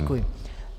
Děkuji.